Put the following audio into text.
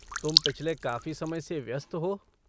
तुम पिछले काफ़ी समय से व्यस्त हो।